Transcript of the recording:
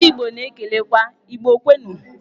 Ndị igbo na-ekelekwa "Igbo kwenụ'.